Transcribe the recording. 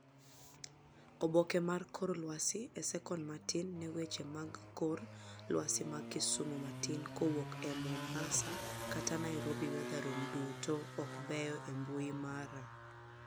Oboke mar kor lwasi e sekon matin ne weche mag kor lwasi mag Kisumu matin kowuok e Mombasa kata Nairobi weathercom duto ok beyo e mbui mara